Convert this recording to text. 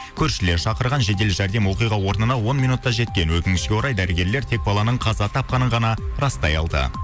көршілер шақырған жедел жәрдем оқиға орнына он минутта жеткен өкінішке орай дәрігерлер тек баланың қаза тапқанын ғана растай алды